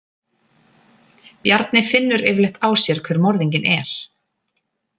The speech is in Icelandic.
Bjarni finnur yfirleitt á sér hver morðinginn er.